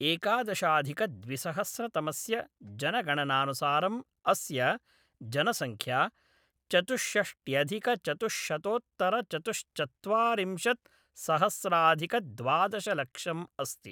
एकादशाधिकद्विसहस्रतमस्य जनगणनानुसारम् अस्य जनसङ्ख्या चतुषष्ट्यधिकचतुश्शतोत्तरचतुश्चत्वारिंशत्सहस्राधिकद्वादशलक्षम् अस्ति।